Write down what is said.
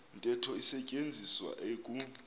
ntetho isetyenziswa eku